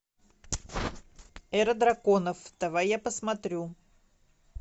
эра драконов давай я посмотрю